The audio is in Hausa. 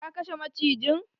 Ka kashe macijin!